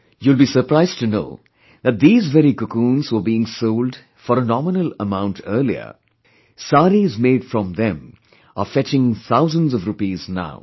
You will be surprised to know that the very cocoons were sold for a nominal amount earlier; saris made from them are fetching thousands of rupees now